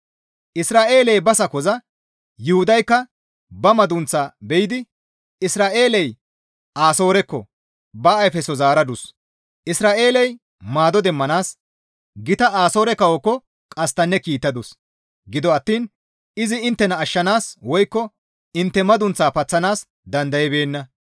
Isra7eeley ba sakoza; Yuhudaykka ba madunththa be7idi Isra7eeley Asoorekko ba ayfso zaaradus; Isra7eeley maado demmanaas gita Asoore kawookko qasttanne kiittadus. Gido attiin izi inttena ashshanaas woykko intte madunththa paththanaas dandaybeenna.